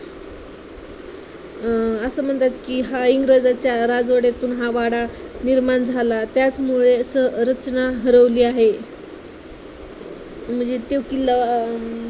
अं असं म्हणतात कि हा इंग्रजांच्या राजवाड्यातून हा वाडा निर्माण झाला. त्याचमुळे संरचना हरवली आहे. म्हणजे ते किल्ला अं